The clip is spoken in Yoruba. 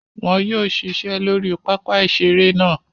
Wọn yóò ṣiṣẹ́ lóri pápá ìseré náà